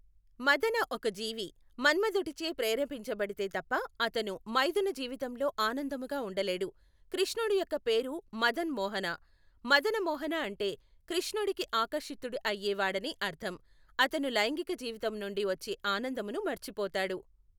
మదన ఒక జీవి, మన్మధుడిచే ప్రేరేపించబడితే తప్ప అతను మైథున జీవితములో ఆనందముగా ఉండలేడు, కృష్ణడు యొక్క పేరు మదన్ మోహన, మదన మోహన అంటే కృష్ణుడికి ఆకర్షితుడు అయ్యేవాడని అర్థం. అతను లైంగిక జీవితం నుండి వచ్చే ఆనందమును మర్చిపోతాడు.